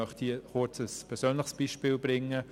Nun möchte ich kurz ein persönliches Beispiel schildern.